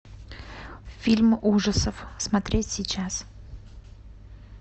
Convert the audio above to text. фильм ужасов смотреть сейчас